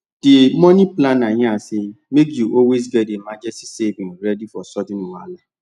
the money planner yarn say make you always get emergency savings ready for sudden wahala